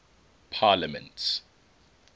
parliaments